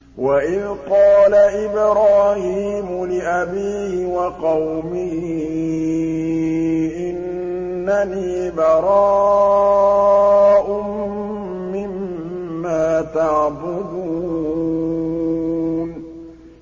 وَإِذْ قَالَ إِبْرَاهِيمُ لِأَبِيهِ وَقَوْمِهِ إِنَّنِي بَرَاءٌ مِّمَّا تَعْبُدُونَ